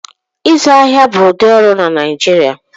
Ịzụ ahịa bụ ụdị ọrụ na Naijiria